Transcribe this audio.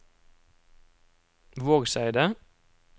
Vågseidet